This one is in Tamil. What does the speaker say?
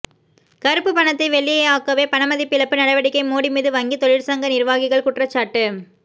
கறுப்புப் பணத்தை வெள்ளையாக்கவே பணமதிப்பிழப்பு நடவடிக்கை மோடிமீது வங்கி தொழிற்சங்க நிர்வாகிகள் குற்றச்சாட்டு